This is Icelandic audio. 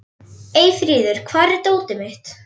Eyfríður, hvar er dótið mitt?